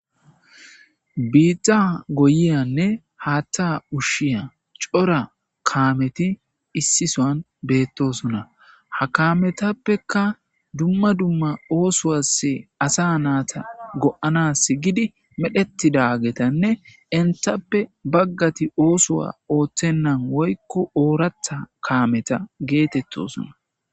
biitta goyiyanne haatta ushshiya cora kaameti issisoan beettosuna ha kaametappeka dumma dumma oosowass asa naata go7anas gidi medhetidagetanne intappe baggati oosowa ooththennan woykko ooratha kaameta geetettosuna